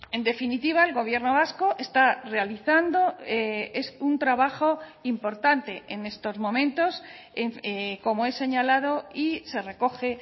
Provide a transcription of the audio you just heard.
en definitiva el gobierno vasco está realizando es un trabajo importante en estos momentos como he señalado y se recoge